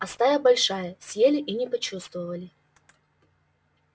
а стая большая съели и не почувствовали